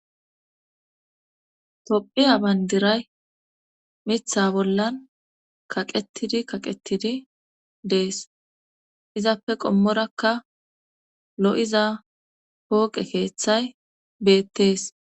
tophiya bayndiray mitha bollan kaqetidi kaqetidi dees izappe qommorakka lo'iza pooqe keeththay beettees